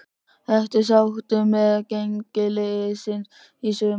Ertu sáttur með gengi liðsins í sumar?